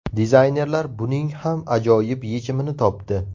Dizaynerlar buning ham ajoyib yechimini topdi.